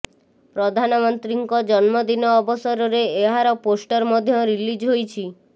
ପ୍ରଧାନମନ୍ତ୍ରୀଙ୍କ ଜନ୍ମଦିନ ଅବସରରେ ଏହାର ପୋଷ୍ଟର ମଧ୍ୟ ରିଲିଜ ହୋଇଛି